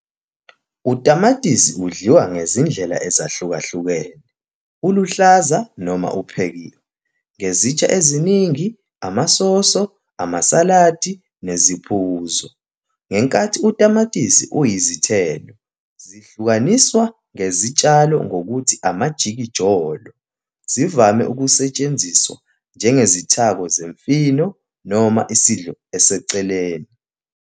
Utamatisi udliwa ngezindlela ezahlukahlukene, uluhlaza noma uphekiwe, ngezitsha eziningi, amasoso, amasaladi neziphuzo. Ngenkathi utamatisi uyizithelo - zihlukaniswa ngezitshalo ngokuthi amajikijolo - zivame ukusetshenziswa njengesithako semifino noma isidlo eseceleni.